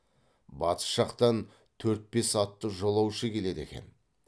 батыс жақтан төрт бес атты жолаушы келеді екен